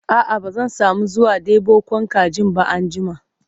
a'a ba zan samu zuwa ɗebo Kwan kajin ba anjima